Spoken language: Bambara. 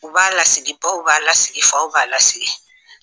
U b'a lasigi baw b'a lasigi faw b'a lasigi